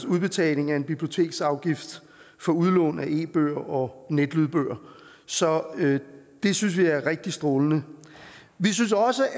udbetaling af en biblioteksafgift for udlån af e bøger og netlydbøger så det synes vi er rigtig strålende vi synes også